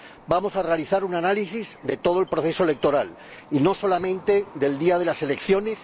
Vamos a realizar un análisis de todo el proceso electoral y no solamente del día de las elecciones.